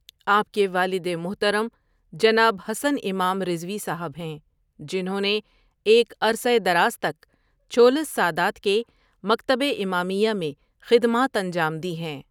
آپ کے والد محترم جناب حسن امام رضوی صاحب ہیں جنھوں نے ایک عرصہ دراز تک چھولس سادات کے مکتب امامیہ میں خدمات انجام دی ہیں ۔